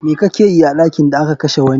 Me kakeyi a ɗakin da aka kashe wani?